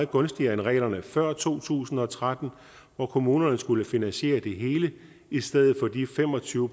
gunstige end reglerne fra før to tusind og tretten hvor kommunerne skulle finansiere det hele i stedet for de fem og tyve